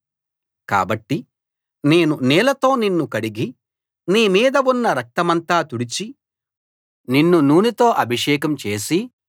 కాబట్టి నేను నీళ్ళతో నిన్ను కడిగి నీ మీద ఉన్న రక్తమంతా తుడిచి నిన్ను నూనెతో అభిషేకం చేసి